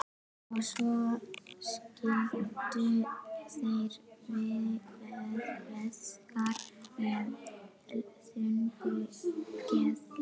Og svo skildu þeir feðgar með þungu geði.